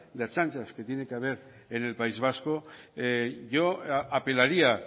de ertzainas que tiene que haber en el país vasco yo apelaría